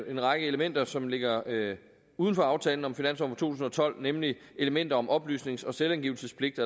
en række elementer som ligger uden for aftalen om finansloven tusind og tolv nemlig elementer om oplysnings og selvangivelsespligt